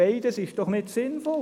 Beides ist nicht sinnvoll.